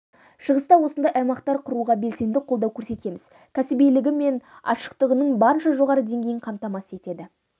шығыста осындай аймақтар құруға белсенді қолдау көрсетеміз кәсібилігі мен ашықтығының барынша жоғары деңгейін қамтамасыз етеді